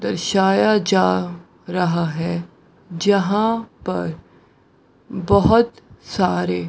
दर्शाया जा रहा है जहाँ पर बहोत सारे --